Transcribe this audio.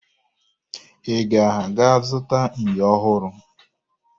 Ị ga-aga zụta ènyò ọhụrụ?